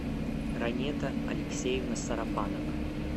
ранета алексеевна сарафанова